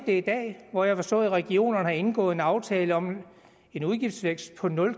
det i dag hvor jeg har forstået at regionerne har indgået en aftale om en udgiftsvækst på nul